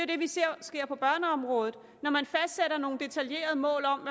det vi ser sker på børneområdet når man fastsætter nogle detaljerede mål om